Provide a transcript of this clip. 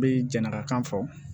N bɛ janaka kan fɔ